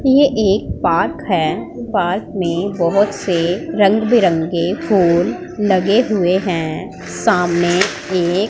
ये एक पार्क है पार्क में बहुत से रंग बिरंगे फूल लगे हुए हैं सामने एक--